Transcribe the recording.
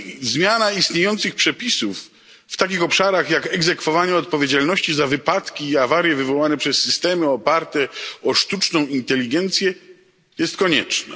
Zmiana istniejących przepisów w takich obszarach jak egzekwowanie odpowiedzialności za wypadki i awarie wywołane przez systemy oparte o sztuczną inteligencję jest konieczna.